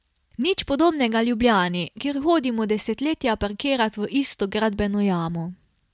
Nič podobnega Ljubljani, kjer hodimo desetletja parkirat v isto gradbeno jamo.